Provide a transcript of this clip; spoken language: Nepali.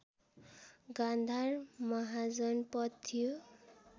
गान्धार महाजनपद थियो